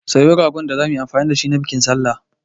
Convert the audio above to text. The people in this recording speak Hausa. Siyo ragon da zamu yi amfani da shi na bikin sallah.